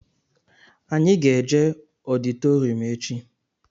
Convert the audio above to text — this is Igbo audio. Anyị ga-eje ọditorịum echi